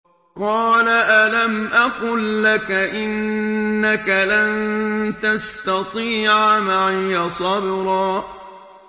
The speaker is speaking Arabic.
۞ قَالَ أَلَمْ أَقُل لَّكَ إِنَّكَ لَن تَسْتَطِيعَ مَعِيَ صَبْرًا